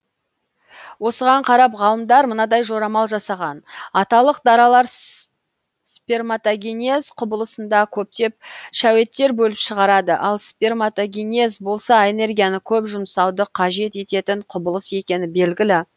осыған қарап ғалымдар мынадай жорамал жасаған аталық даралар сперматогенез құбылысында көптеп шәуеттер бөліп шығарады ал сперматогенез болса энергияны көп жұмсауды қажет ететін құбылыс екені белгілі